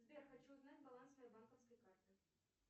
сбер хочу узнать баланс своей банковской карты